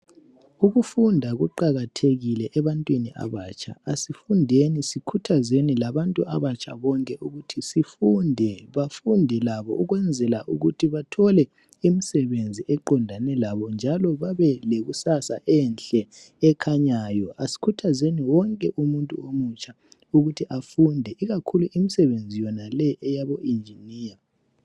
Ukufunda kuqakathekile ebantwini abatsha. Asifundeni sikhuthazeni labantu abatsha bonke ukuthi bafunde bafunde labo ukwenzela ukuthi bathole imisebenzi eqondane labo njalo babelekusasa enhle ekhanyayo. Asikhuthazeni wonke umuntu omutsha ukuthi afunde ikakhulu imisebenzi yonaleyi eyabo engineer.